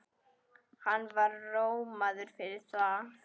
Hann var rómaður fyrir það.